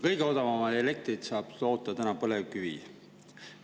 Kõige odavamat elektrit saab toota põlevkivist.